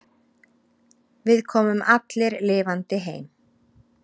Við komum allir lifandi heim.